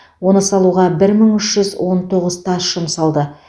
оны салуға бір мың үш жүз он тоғыз тас жұмсалды